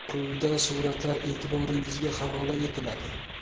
Quyida suratlar e’tiboringizga havola etiladi.